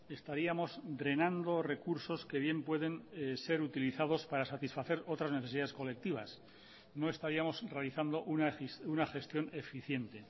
estaríamos drenando recursos que bien pueden ser utilizados para satisfacer otras necesidades colectivas no estaríamos realizando una gestión eficiente